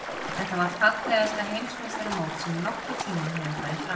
Þetta var fallegasta Heimsmeistaramót sem nokkurn tíma hefur farið fram.